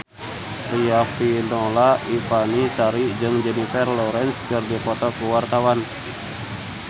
Riafinola Ifani Sari jeung Jennifer Lawrence keur dipoto ku wartawan